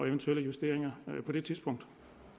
eventuelle justeringer på det tidspunkt